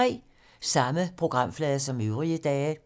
Samme programflade som øvrige dage